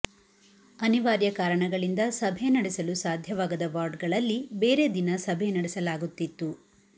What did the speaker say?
ಅನಿವಾರ್ಯ ಕಾರಣಗಳಿಂದ ಸಭೆ ನಡೆಸಲು ಸಾಧ್ಯವಾಗದ ವಾರ್ಡ್ಗಳಲ್ಲಿ ಬೇರೆ ದಿನ ಸಭೆ ನಡೆಸಲಾಗುತ್ತಿತ್ತು